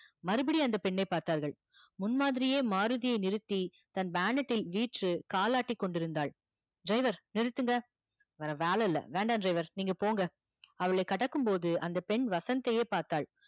மறுபடியும் அந்த பெண்ணை பார்த்தார்கள் முன் மாதிரியே மாருதியை நிறுத்தி கால் ஆற்றிக் கொண்டிருந்தால் driver நிருந்துங்க வேற வேல இல்ல வேண்டா driver நீங்க போங்க அவளை கடக்கும் போது அந்த பெண் வசந்த் தையே பார்த்தால்